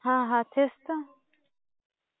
हा, हा. तेच तर.